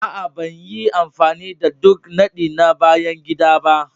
Aa, ban yi amfani da duk nadi na bayan gida ba.